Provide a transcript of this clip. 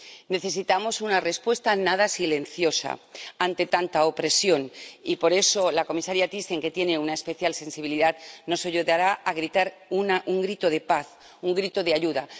Necesitamos una respuesta nada silenciosa ante tanta opresión y, por eso, la comisaria Thyssen, que tiene una especial sensibilidad, nos ayudará a gritar un grito de paz, un grito de ayuda.